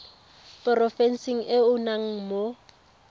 porofenseng e o nnang mo